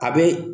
A bɛ